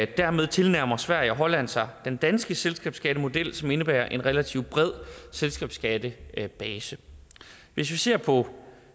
dermed tilnærmer sverige og holland sig den danske selskabsskattemodel som indebærer en relativt bred selskabsskattebase hvis vi ser på